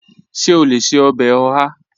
Ṣe o le ṣe ọbẹ oha?